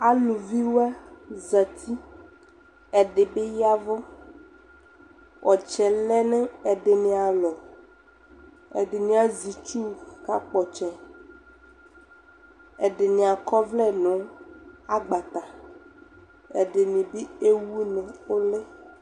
Aluviwa zati, ɛde be yavu Ɔtsɛ lɛ no ɛdene alɔ Ɛdene azɛ itsu kaa kpɔ ɔtsɛƐdene akɔ blɛ no agbata ɛdene be ewu no uli